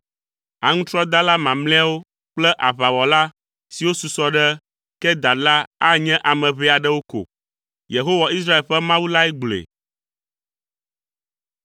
Aŋutrɔdala mamlɛawo kple aʋawɔla siwo susɔ le Kedar la anye ame ʋɛ aɖewo ko.” Yehowa Israel ƒe Mawu lae gblɔe.